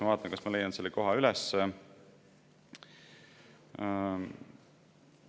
Ma vaatan, kas ma leian selle koha üles.